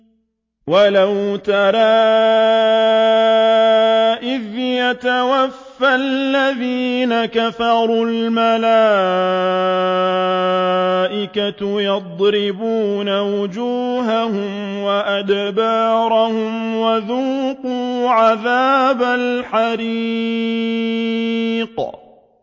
وَلَوْ تَرَىٰ إِذْ يَتَوَفَّى الَّذِينَ كَفَرُوا ۙ الْمَلَائِكَةُ يَضْرِبُونَ وُجُوهَهُمْ وَأَدْبَارَهُمْ وَذُوقُوا عَذَابَ الْحَرِيقِ